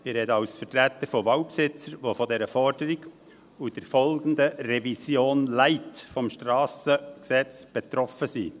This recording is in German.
Ich spreche als Vertreter von Waldbesitzern, die von dieser Forderung und der folgenden «Revision Light» des SG betroffen sind.